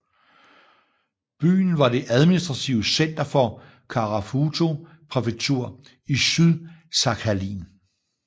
Byen var det administrative center for Karafuto præfektur i Sydsakhalin